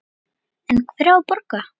En hver á að borga?